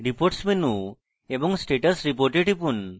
reports menu এবং status report এ টিপুন